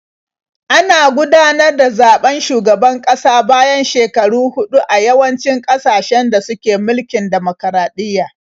Ana gudanar da zaɓen shugaban kasa bayan shekaru huɗu a yawancin ƙasashen da suke mulkin dimokuraɗiyya.